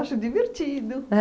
divertido.